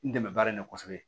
N dɛmɛ baara in na kosɛbɛ